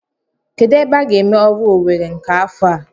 Kedụ ebe a ga-eme oru Owerri nke afọ a?